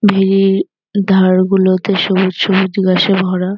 ভেরির ধার গুলোতে সবুজ সবুজ ঘাসে ভরা।